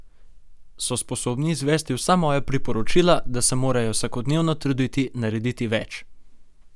So sposobni izvesti vsa moja priporočila, da se morajo vsakodnevno truditi narediti več?